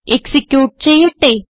execute ചെയ്യട്ടെ